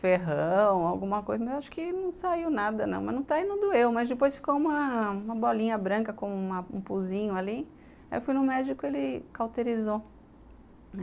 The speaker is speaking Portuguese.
ferrão, alguma coisa, mas acho que não saiu nada não, mas não está e não doeu, mas depois ficou uma bolinha branca com um puzinho ali, aí eu fui no médico e ele cauterizou.